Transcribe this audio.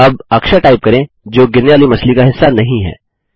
अब अक्षर टाइप करें जो गिरने वाली मछली का हिस्सा नहीं है